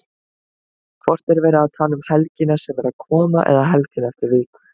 Hvort er verið að tala um helgina sem er að koma eða helgina eftir viku?